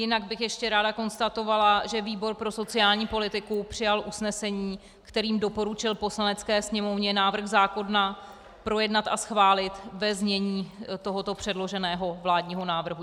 Jinak bych ještě ráda konstatovala, že výbor pro sociální politiku přijal usnesení, kterým doporučil Poslanecké sněmovně návrh zákona projednat a schválit ve znění tohoto předloženého vládního návrhu.